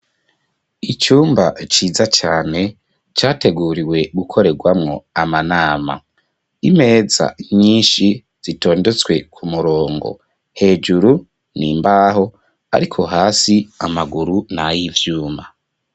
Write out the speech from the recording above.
Icumba ciza cane categuriwe gukorerwamwo amanama imeza nyinshi zitondetswe ku murongo hejuru ni mbaho, ariko hasi amaguru ni ayo ivyuma.